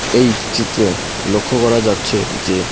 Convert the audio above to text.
এই চিত্রে লক্ষ করা যাচ্ছে যে--